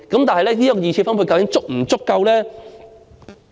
但是，這二次分配究竟是否足夠呢？